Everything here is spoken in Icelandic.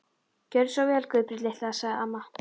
Gjörðu svo vel Guðbjörg litla, sagði amma.